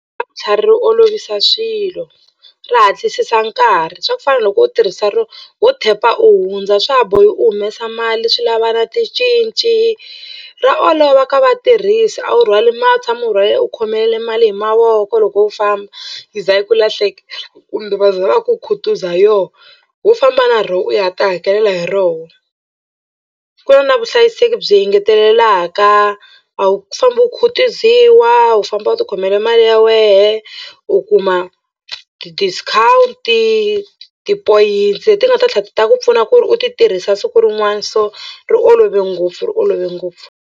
Ra vutlhari ri olovisa swilo ri hatlisisa nkarhi swa ku fana na loko u tirhisa ro ho tap-a u hundza swa ha bohi u humesa mali swi lava ticinci ra olova ka vatirhisi a wu rhwali ma a wu tshami u rhwale u khomelele mali hi mavoko loko u famba yi za yi ku lahleka kumbe va vhe va ku khutuza yo ho famba na rona u ya tihakelela hi rona. Ku na vuhlayiseki byi engetelelaka a wu fambi u khutuziwa u famba u tikhomela mali ya wena u kuma ti-discount tipoyintsi leti nga ta tlhela ti ta ku pfuna ku ri u ti tirhisa siku rin'wana so ri olove ngopfu ri olove ngopfu.